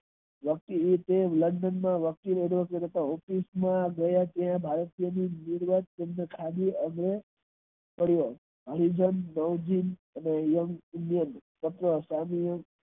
વર્ષ નિમિતે london ભારતીયોનું ખામી અને હરિજન અને